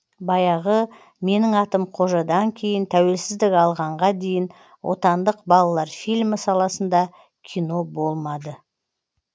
баяғы менің атым қожадан кейін тәуелсіздік алғанға дейін отандық балалар фильмі саласында кино болмады